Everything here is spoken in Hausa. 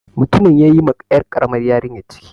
Mutumin ya yi ma 'yar ƙaramar yarinyar ciki.